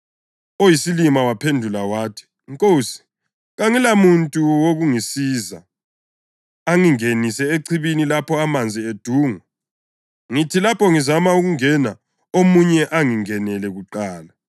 Oyisilima waphendula wathi, “Nkosi, kangilamuntu wokungisiza angingenise echibini lapho amanzi edungwa. Ngithi lapho ngizama ukungena omunye angingenele kuqala.”